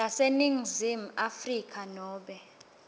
yaseningizimu afrika nobe